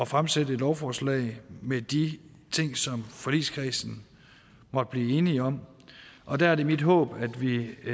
fremsætte et lovforslag med de ting som forligskredsen måtte blive enig om og der er det mit håb